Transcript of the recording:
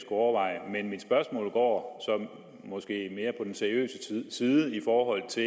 overveje men mit spørgsmål går så måske mere på den seriøse side i forhold til